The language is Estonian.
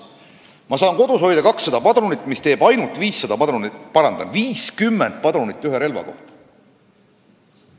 Ma saan kodus hoida 200 padrunit, mis teeb ainult 50 padrunit ühe relva kohta.